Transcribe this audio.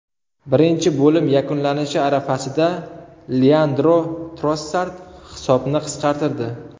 Birinchi bo‘lim yakunlanishi arafasida Leandro Trossard hisobni qisqartirdi.